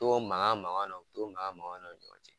To mankan mankan na to mankan mankan na u ni ɲɔgɔn cɛ